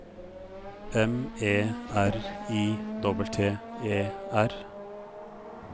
M E R I T T E R